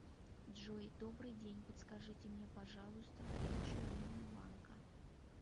джой добрый день подскажите мне пожалуйста горячую линию банка